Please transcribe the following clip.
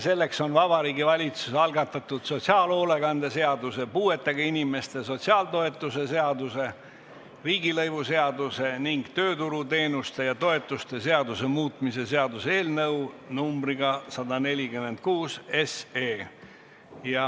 Selleks on Vabariigi Valitsuse algatatud sotsiaalhoolekande seaduse, puuetega inimeste sotsiaaltoetuste seaduse, riigilõivuseaduse ning tööturuteenuste ja -toetuste seaduse muutmise seaduse eelnõu 146.